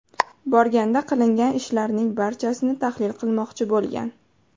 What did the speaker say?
borganda, qilingan ishlarning barchasini tahlil qilmoqchi bo‘lgan.